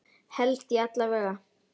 Held ég alla vega.